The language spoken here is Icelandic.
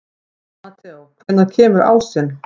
Mateó, hvenær kemur ásinn?